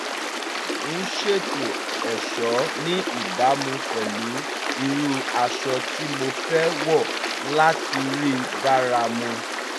mo ń ṣètò ẹ̀ṣọ́ ní ìbámu pẹ̀lú irú aṣọ tí mo fẹ́ wọ̀ láti rí bára mu